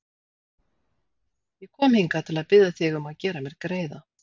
Ég kom hingað til að biðja þig um að gera mér greiða.